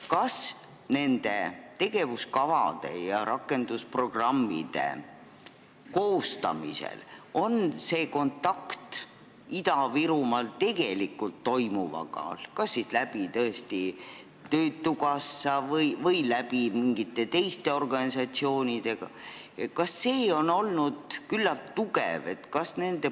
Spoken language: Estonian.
Kas nende tegevuskavade ja rakendusprogrammide koostamisel on kontakt Ida-Virumaal tegelikult toimuvaga kas töötukassa või mingite teiste organisatsioonide kaudu olnud küllalt tugev?